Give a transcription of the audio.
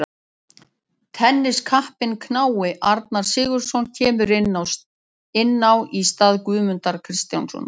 Tenniskappinn knái Arnar Sigurðsson kemur inn á í stað Guðmundar Kristjánssonar.